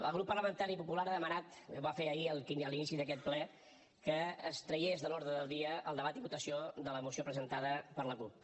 el grup parlamentari popular ha demanat ho va fer ahir a l’inici d’aquest ple que es tragués de l’ordre del dia el debat i votació de la moció presentada per la cup